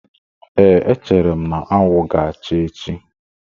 Ee, echere m na anwụ ga-acha echi.